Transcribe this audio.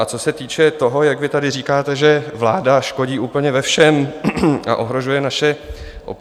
A co se týče toho, jak vy tady říkáte, že vláda škodí úplně ve všem a ohrožuje naše občany.